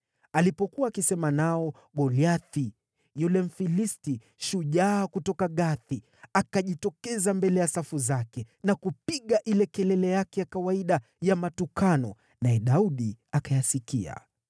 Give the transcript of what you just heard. Alipokuwa akisema nao, Goliathi, yule Mfilisti shujaa kutoka Gathi, akajitokeza mbele ya safu zake na kupiga ile kelele yake ya kawaida ya matukano, naye Daudi akayasikia.